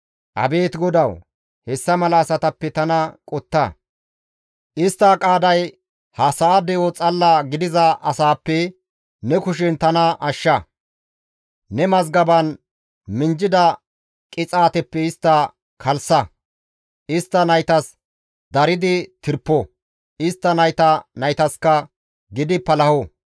Abeet GODAWU! Hessa mala asatappe tana qotta; Istta qaaday ha sa7a de7o xalla gidiza asaappe ne kushen tana ashsha; ne mazgaban minjjida qixaateppe istta kalssa; istta naytas daridi tirpo; istta nayta naytaska gidi palaho.